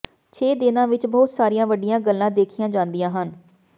ਛੇ ਦਿਨਾਂ ਵਿਚ ਬਹੁਤ ਸਾਰੀਆਂ ਵੱਡੀਆਂ ਗੱਲਾਂ ਦੇਖੀਆਂ ਜਾਂਦੀਆਂ ਹਨ